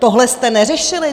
Tohle jste neřešili?